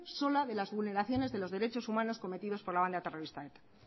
sola de las vulneraciones de los derechos humanos cometidos por la banda terrorista eta